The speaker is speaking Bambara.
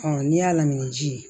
n'i y'a lamini ji ye